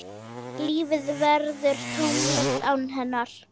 Lífið verður tómlegt án hennar.